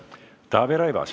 Taavi Rõivas.